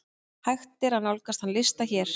Hægt er nálgast þann lista hér.